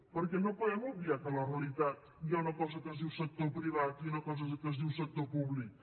perquè no podem obviar que a la realitat hi ha una cosa que es diu sector privat i una cosa que es diu sector públic